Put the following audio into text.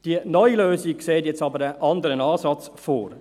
Die neue Lösung sieht jetzt aber einen anderen Ansatz vor.